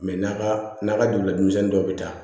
n'a ka n'a ka dugula denmisɛnnin dɔw bɛ taa